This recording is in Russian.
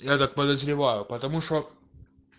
я так подозреваю потому что